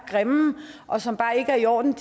grimme og som bare ikke er i orden